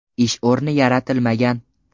Ish o‘rni yaratilmagan.